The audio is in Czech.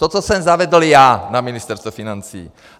To, co jsem zavedl já na Ministerstvu financí.